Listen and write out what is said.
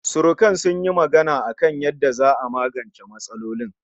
Surukan sun yi magana a kan yanda za'a magance matsalolin